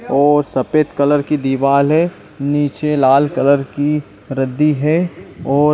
और सफेद कलर की दीवाल है नीचे लाल कलर की रद्दी है और --